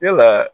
Yalaa